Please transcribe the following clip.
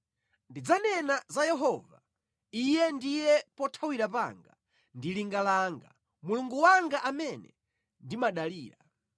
Ndidzanena za Yehova, “Iye ndiye pothawira panga ndi linga langa, Mulungu wanga amene ndimadalira.”